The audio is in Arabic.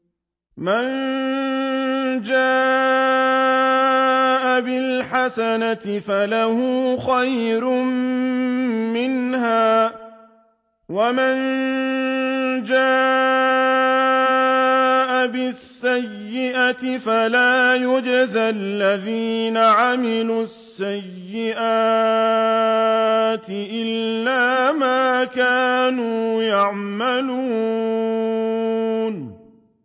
مَن جَاءَ بِالْحَسَنَةِ فَلَهُ خَيْرٌ مِّنْهَا ۖ وَمَن جَاءَ بِالسَّيِّئَةِ فَلَا يُجْزَى الَّذِينَ عَمِلُوا السَّيِّئَاتِ إِلَّا مَا كَانُوا يَعْمَلُونَ